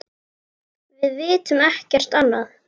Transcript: Við vitum ekkert annað.